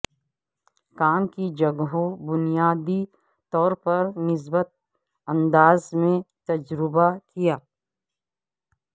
کام کی جگہوں بنیادی طور پر مثبت انداز میں تجزیہ کیا